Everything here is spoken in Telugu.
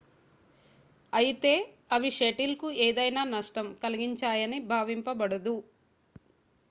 అయితే అవి షటిల్ కు ఏదైనా నష్టం కలిగించాయని భావింపబడదు